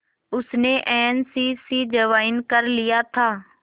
उसने N C C join कर लिया था